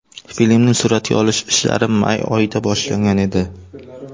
Filmning suratga olish ishlari may oyida boshlangan edi.